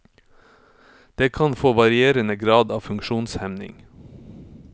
Det kan få varierende grad av funksjonshemning.